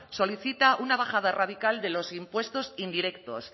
solicita una bajada radical de los impuestos indirectos